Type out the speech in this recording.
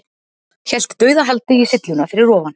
Hélt dauðahaldi í sylluna fyrir ofan.